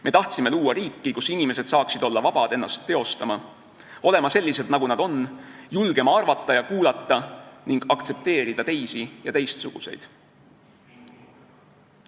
Me tahtsime luua riiki, kus inimesed saaksid olla vabad ennast teostama, vabad olema sellised, nagu nad on, vabad julgema arvata ja kuulata ning aktsepteerida teisi ja teistsuguseid.